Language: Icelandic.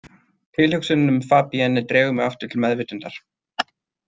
Tilhugsunin um Fabienne dregur mig aftur til meðvitundar.